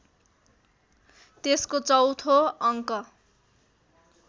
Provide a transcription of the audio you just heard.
त्यसको चौँथो अङ्क